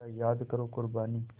ज़रा याद करो क़ुरबानी